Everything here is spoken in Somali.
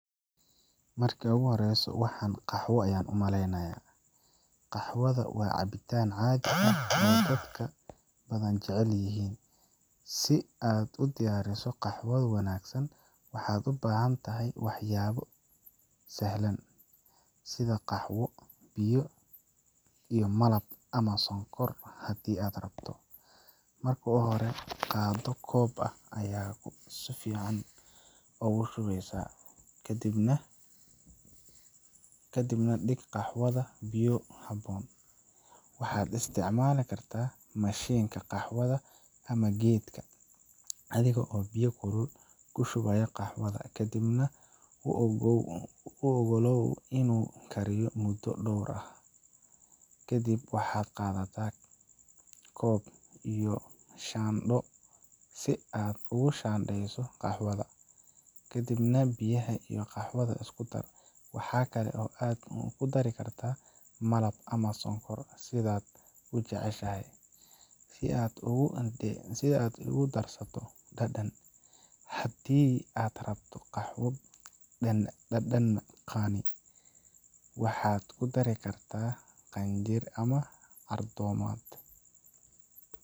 Mmarka ugu horeyso waxan qaxwo ayaan umaleynayaa Qaxwaha waa cabitaan caadi ah oo dadka badan jecel yihiin. Si aad u diyaariso qaxwo wanaagsan, waxaad u baahan tahay waxyaabo sahlan sida: qaxwo, biyaha, iyo malab ama sonkor haddii aad rabto. Marka hore, qaado koob qaxwo ah oo fiican, kadibna dhig qaxwaha biyo ku habboon. Waxaad isticmaali kartaa mashiinka qaxwaha ama geedka adiga oo biyaha kulul ku shubaya qaxwaha, kadibna u ogolow inuu ku kariyo muddo dhowr daqiiqo ah. Kadib, waxaad qaadan kartaa koob iyo shaandho si aad u shaandheyso qaxwaha, ka dibna biyaha iyo qaxwaha isku dar. Waxa kale oo aad ku dari kartaa malab ama sonkor, sidaad u jeceshahay, si aad ugu darsato dhadhan. Haddii aad rabto qaxwo dhadhan qani ah, waxaad ku dari kartaa cinjir ama cardamom. Marka uu dhameystirmo, ku shub koob. Qaxwaha ayaa diyaar ah, oo waxaad u raaxeysan kartaa cabitaankiisa macaan. Waa cabitaan wanaagsan oo subaxdii ama galabtii lagu cabbo.